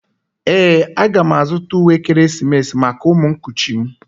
Ee, a ga m azụta uwe ekeresimesi maka ụmụ nkuchi m